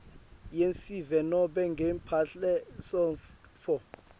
yesive nobe ngemphelasontfo